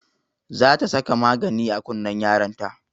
Za ta saka magani a kunnen yaron ta